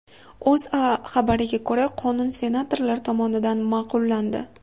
O‘zA xabariga ko‘ra , qonun senatorlar tomonidan ma’qullandi.